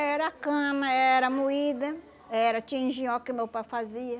Era a cama, era moída, era tinha engenhoca que meu pai fazia.